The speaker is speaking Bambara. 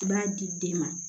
I b'a di den ma